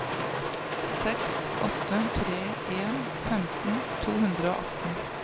seks åtte tre en femten to hundre og atten